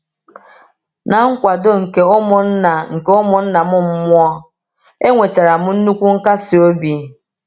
Na nkwado nke ụmụnna nke ụmụnna m mmụọ, enwetara m nnukwu nkasi obi.